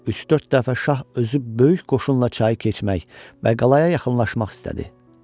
Üç-dörd dəfə şah özü böyük qoşunla çayı keçmək və qalaya yaxınlaşmaq istədi.